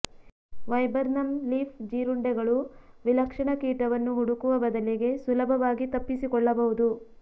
viburnum leaf ಜೀರುಂಡೆಗಳು ವಿಲಕ್ಷಣ ಕೀಟವನ್ನು ಹುಡುಕುವ ಬದಲಿಗೆ ಸುಲಭವಾಗಿ ತಪ್ಪಿಸಿಕೊಳ್ಳಬಹುದು